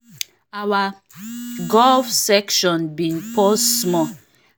our golf session been pause small as some kin people wey we no expect come dey look us